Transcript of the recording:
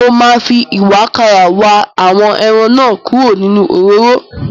Mo máa fi ìwàkàrà wa àwọn ẹran náà kúrò nínú òróró.